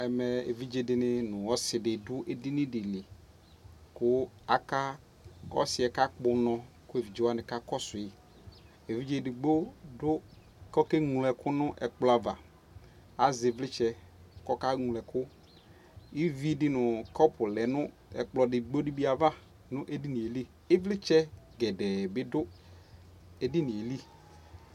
ɛmɛ evidze di ni no ɔsi di do edini di li ko ɔsiɛ ka kpɔ unɔ ko evidze wani ka kɔsu yi evidze edigbo do ko ɔke ŋlo ɛku no ɛkplɔ ava azɛ ivlitsɛ ko ɔke ŋlo ɛku ivi di no kɔpo lɛ no ɛkplɔ edigbo di bi ava no edinie li ivlitsɛ gɛdɛ bi do edinie li